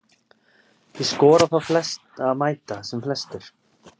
Ég skora á þá að mæta sem flestir.